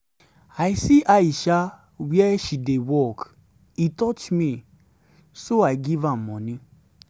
i see aisha where she dey work. e touch me so i give am money.